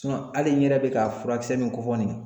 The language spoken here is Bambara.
hali n yɛrɛ be ka furakisɛ min fɔ nin ye